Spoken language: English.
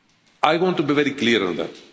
I want to be very clear on that.